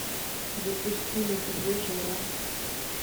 запусти на тв жара